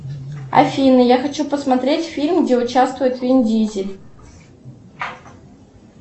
афина я хочу посмотреть фильм где участвует вин дизель